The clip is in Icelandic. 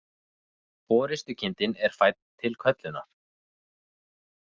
Forystukindin er fædd til köllunar.